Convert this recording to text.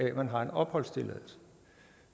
at man har en opholdstilladelse